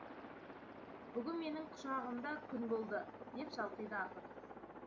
бүгін менің құшағымда күн болды деп шалқиды ақын